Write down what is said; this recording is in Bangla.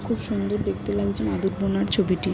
খুব সুন্দর দেখতে লাগছে মাদুর বোনার ছবিটি।